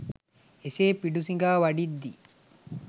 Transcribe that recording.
එසේ පිඬු සිඟා වඩිද්දී